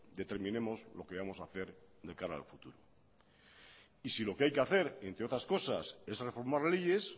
determinemos lo que vamos a hacer de cara al futuro y si lo que hay que hacer entre otras cosas es reformar leyes